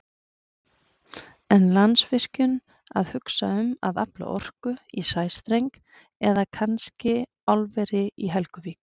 En Landsvirkjun að hugsa um að afla orku í sæstreng eða kannski álveri í Helguvík?